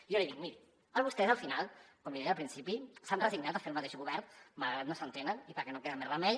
jo li dic miri vostès al final com li deia al principi s’han resignat a fer el mateix govern malgrat que no s’entenen i perquè no queda més remei